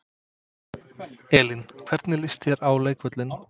Elín: Hvernig líst þér á leikvöllinn?